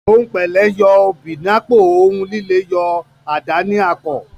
Òhun pẹlẹ, o yo obi n’ apo; ohùn lílé yọ adà ní àkò